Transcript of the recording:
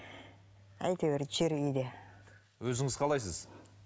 әйтеуір жүр үйде өзіңіз қалайсыз